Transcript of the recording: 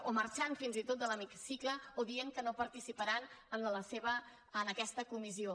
o marxant fins i tot de l’hemicicle o dient que no participaran en aquesta comissió